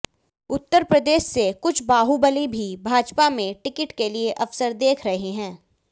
उत्तर प्रदेश से कुछ बाहुबली भी भाजपा में टिकट के लिए अवसर देख रहे हैं